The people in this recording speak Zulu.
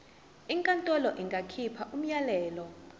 inkantolo ingakhipha umyalelo